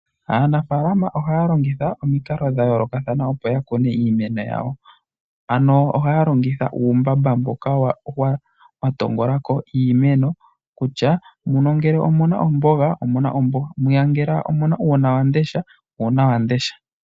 Aanafaalama ohaya longitha omukalo dhayooloka opo ya kune iimeno yawo. Ano ohaya longitha uumbamba mboka wa tongola iimeno kutya muno ngele omu na omboga, omanga ngele mwiya omu na uunawamundesha omuna uunawamundesha.